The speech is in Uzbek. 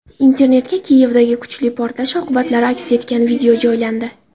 Internetga Kiyevdagi kuchli portlash oqibatlari aks etgan video joylandi.